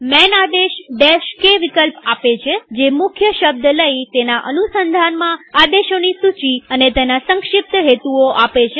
માન આદેશ k વિકલ્પ આપે છેજે મુખ્ય શબ્દ લઇતેના અનુસંધાનમાં આદેશોની સૂચી અને તેના સંક્ષિપ્ત હેતુઓ આપે છે